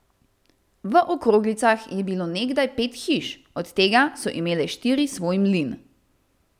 V Okroglicah je bilo nekdaj pet hiš, od tega so imele štiri svoj mlin.